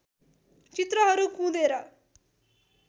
चित्रहरू कुँदेर